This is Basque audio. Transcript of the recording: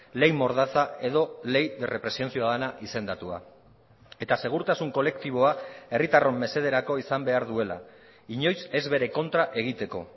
ley mordaza edo ley de represión ciudadana izendatua eta segurtasun kolektiboa herritarron mesederako izan behar duela inoiz ez bere kontra egiteko